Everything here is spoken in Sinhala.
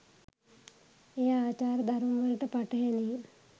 එය ආචාර ධර්මවලට පටහැනි